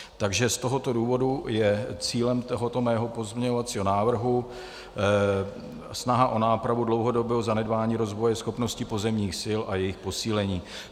Takže z tohoto důvodu je cílem tohoto mého pozměňovacího návrhu snaha o nápravu dlouhodobého zanedbání rozvoje schopností pozemních sil a jejich posílení.